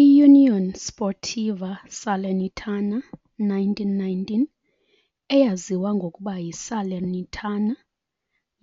IUnione Sportiva Salernitana 1919, eyaziwa ngokuba yi Salernitana,